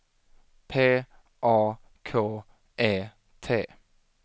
P A K E T